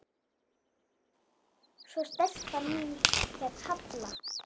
Svo stelpan hét Halla.